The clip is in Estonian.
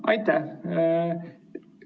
Aitäh!